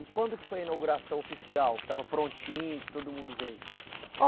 E quando que foi a inauguração oficial, que estava prontinho, que todo mundo veio?